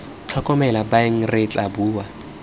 tlhokomele baeng re tla bua